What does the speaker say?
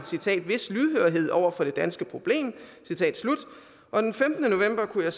vis lydhørhed over for det danske problem og den femtende november kunne